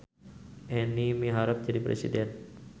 Eni miharep jadi presiden